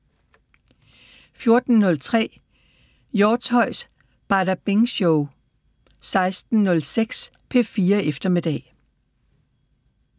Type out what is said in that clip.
14:03: Hjortshøjs Badabing Show 16:06: P4 Eftermiddag